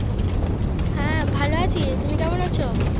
হ্যাঁ ভালো আছি তুমি কেমন আছো